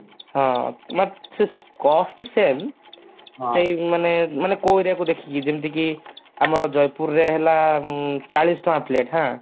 ହଁ ସେ cost same ମାନେ ମାନେ ମାନେ କଉ area କୁ ଦେଖିକି ଯେମିତିକି ଆମର ଜଯପୁର ରେ ହେଲା ଉଁ ଚାଳିଶ ଟଙ୍କା plate ହାଁ